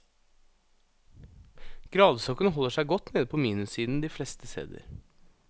Gradestokken holder seg godt nede på minussiden de fleste steder.